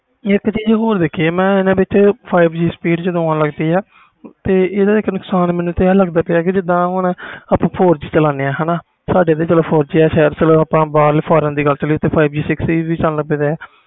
ਇਕ ਚੀਜ਼ ਹੋਰ ਦੇਖੀ ਮੈਂ ਹਨ ਵਿਚ ਜਦੋ five G speed ਆਣ ਲੱਗ ਪਈ ਤੇ ਇਹਦਾ ਮੈਨੂੰ ਨੁਕਸਾਨ ਆਹ ਲੱਗਦਾ ਪੀਆ ਜਿੰਦਾ ਹੁਣ ਆਪਾ four G ਚਲਦੇ ਆ ਸਾਡੇ four G ਚਲੋ ਆਪਾ ਬਹਾਰ foreign ਦੀ ਗੱਲ ਕਰੀਏ